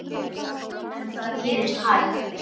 En það gerist hægt.